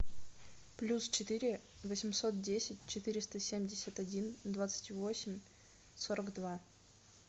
плюс четыре восемьсот десять четыреста семьдесят один двадцать восемь сорок два